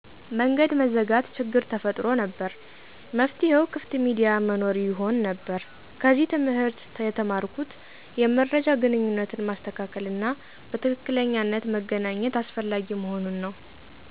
መንገድ መዘጋት ችግር ተፈጥሮ ነበር፤ መፍትሄው ክፍት ሚዲያ መኖር ይሆን ነበር። ከዚህ ትምህርት ተማርኩት የመረጃ ግንኙነትን ማስተካከል እና በትክክለኛነት መገናኘት አስፈላጊ መሆኑን ነው።